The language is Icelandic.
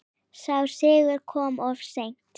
Sá sigur kom of seint.